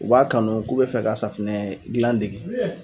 U b'a kanu k'u bɛ fɛ ka safunɛ gilan dege